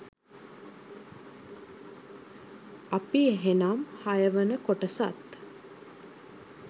අපි එහෙනම් හයවන කොටසත්